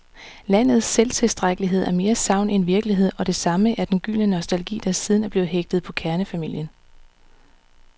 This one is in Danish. Landets selvtilstrækkelighed er mere sagn end virkelighed, og det samme er den gyldne nostalgi, der siden er blevet hægtet på kernefamilien.